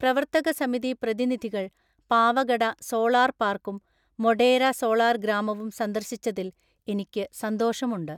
പ്രവർത്തകസമിതി പ്രതിനിധികൾ പാവഗഡ സോളാർ പാർക്കും മൊഢേര സോളാർ ഗ്രാമവും സന്ദർശിച്ചതിൽ എനിക്കു സന്തോഷമുണ്ട്.